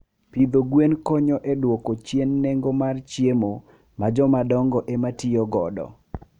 Pidho gwen konyo e dwoko chien nengo mar chiemo ma jo madongo ema tiyo godo.